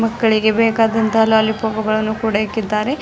ಮಕ್ಕಳಿಗೆ ಬೇಕಾದಂತಹ ಲಾಲಿಪಪ್ಪುಗಳನ್ನು ಕೂಡ ಇಕ್ಕಿದ್ದಾರೆ.